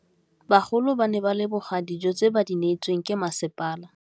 Bagolo ba ne ba leboga dijô tse ba do neêtswe ke masepala.